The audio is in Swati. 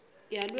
yalweti